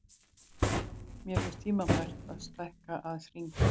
Mér finnst tímabært að stækka aðeins hringinn.